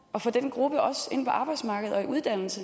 at få den gruppe også ind på arbejdsmarkedet og i uddannelse